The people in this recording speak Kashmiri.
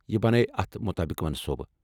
یہِ بناوٕ اتھ مطٲبق منصوٗبہٕ۔